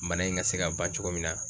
Bana in ŋa se ka ban cogo min na